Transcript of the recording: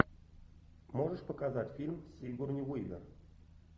можешь показать фильм с сигурни уивер